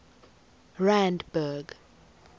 randburg